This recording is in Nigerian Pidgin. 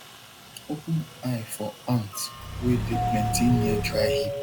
open eye for ant wey dey plenty near dry heap